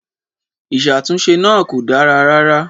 Ìṣàtúnṣe náà kò dára rárá.